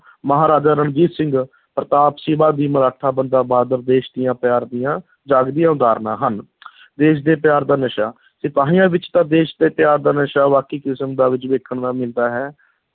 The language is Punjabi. ਮਹਾਰਾਜਾ ਰਣਜੀਤ ਸਿੰਘ, ਪ੍ਰਤਾਪ, ਸ਼ਿਵਾ ਜੀ ਮਰਾਠਾ, ਬੰਦਾ ਬਹਾਦਰ ਦੇਸ਼ ਦੀਆਂ ਪਿਆਰ ਦੀਆਂ ਜਾਗਦੀਆਂ ਉਦਾਹਰਨਾਂ ਹਨ ਦੇਸ਼ ਦੇ ਪਿਆਰ ਦਾ ਨਸ਼ਾ, ਸਿਪਾਹੀਆਂ ਵਿੱਚ ਤਾਂ ਦੇਸ਼ ਦੇ ਪਿਆਰ ਦਾ ਨਸ਼ਾ ਬਾਕੀ ਕਿਸਮ ਦਾ ਵਿੱਚ ਵੇਖਣ ਦਾ ਮਿਲਦਾ ਹੈ।